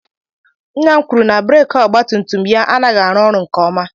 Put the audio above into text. Nna m kwuru na breeki ọgba tum tum ya anaghị arụ ọrụ nke ọma